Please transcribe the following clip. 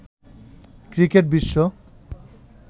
cricket Biswa